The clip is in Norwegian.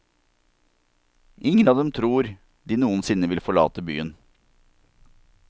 Ingen av dem tror de noensinne vil forlate byen.